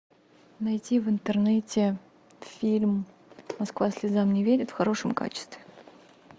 найти в интернете фильм москва слезам не верит в хорошем качестве